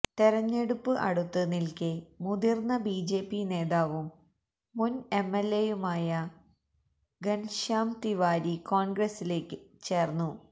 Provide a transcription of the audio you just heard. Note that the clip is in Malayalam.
തെരഞ്ഞെടുപ്പ് അടുത്ത് നില്ക്കേ മുതിര്ന്ന ബിജെപി നേതാവും മുന് എംഎല്എയുമായ ഗന്ശ്യാം തിവാരി കോണ്ഗ്രസില് ചേര്ന്നു